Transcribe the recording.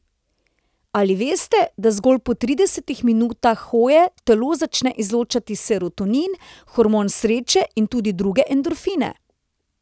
Ali veste, da zgolj po tridesetih minutah hoje telo začne izločati serotonin, hormon sreče, in tudi druge endorfine?